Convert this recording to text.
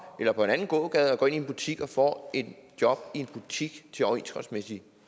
eller på en anden gågade og går ind i en butik og får et job i en butik til overenskomstmæssige